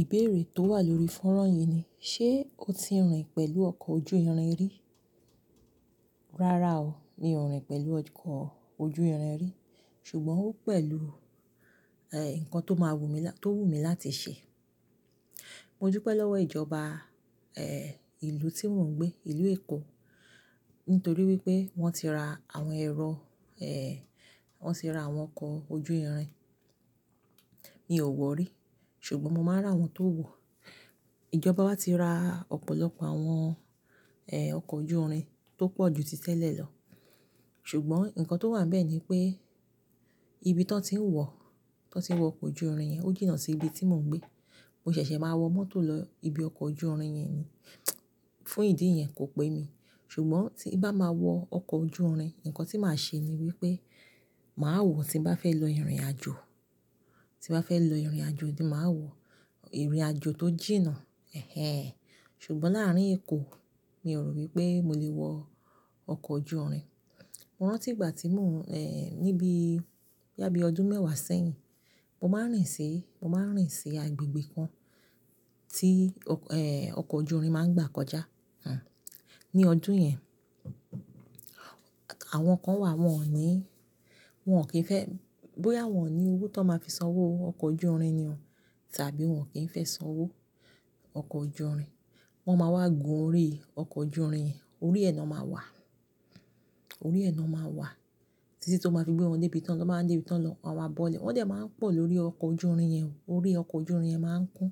Ìbéèrè tó wà lórí fónrán yìí ni, ṣe o ti rìn pẹ̀lú ọkọ̀ ojú irin rí? Rárá o, mi ò rìn pẹ̀lú ọkọ̀ ojú irin rí, ṣùgbọ́n ó pẹ̀lú, ẹ́, ǹkan tó máa wù mi, tó wù mi láti ṣe. Mo du pẹ́ lọ́wọ́ ìjọba, ẹ́, ìlú tí mò ń gbé, ìlú Èkó, nítorí wípé wọ́n ti ra àwọn ẹ̀rọ, ẹ́ẹ́, wọ́n ti ra àwọn ọkọ̀ ojú irin. Mi ò wọ̀ rí, ṣùgbọ́n mo máa rà wọ́n tó wọ̀. Ìjọba wá ti ra ọ̀pọ̀lọpọ̀ àwọn, ẹ́, ọkọ̀ ojú irin tó pọ̀ ju títẹ́lẹ̀ lọ, ṣùgbọ́n ǹkan tó wà níbẹ̀ ni pé ibi tí wọ́n ti ń wọ, tí wọ́n ti ń wọ ọkọ̀ ojú irin yẹn ó jìnnà sí ibi tí mò ń gbé. Mo ṣẹ̀ṣẹ̀ máa wọ mọ́tò lọ ibi ọkọ̀ ojú irin yẹn ni. Fún ìdí yẹn kò pẹ́ mi. Ṣùgbọ́n tí bá máa wọ ọkọ̀ ojú irin, ǹkan tí màá ṣe ni wípé màá wọ̀ tí bá fẹ́ lọ ìrìnàjò. Tí bá fẹ́ lọ ìrìnàjò ni màá wọ̀. Ìrìnàjò tó jìnnà. Ẹ̀hẹn. Ṣùgbọ́n láàárín Èkó, mi ò rò wípé mo lè wọ ọkọ̀ ojú irin. Mo rántí ìgbà tí mò ń, ẹ́, níbí boya bìí ọdún mẹ́wàá sẹ́yìn, mo máa ń rìn sí, mo máa ń rìn sí agbègbè kan tí ọkọ̀, ẹ́, ojú irin máa ń gbà kọjá. Hìhán. Ní ọdún yẹn, àwọn kan wà, wọ́n ò ní, wọn kì í fẹ́-- bóyá wọ́n ò ní owó tó máa fi sanwó ọkọ̀ ojú irin ni o tàbí wọn kì í fẹ́ sanwó ọkọ̀ ojú irin, wọ́n máa wá gun orí ọkọ̀ ojú irin. Orí ẹ̀nà máa wà. Orí ẹ̀nà máa wà títí tó máa fi gbé wọn dé ibi tán, wọ́n máa ń dé ibi tán lọ, àwọn abọ́lẹ̀. Wọ́n dẹ̀ máa ń pọ̀ lórí ọkọ̀ ojú irin yẹn, orí ọkọ̀ ojú irin yẹn máa ń kún.